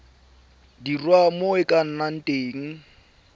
dirwa mo go ena ka